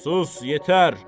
Sus, yetər!